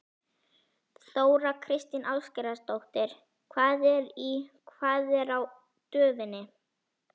Þóra Kristín Ásgeirsdóttir: Hvað er í, hvað er á döfinni?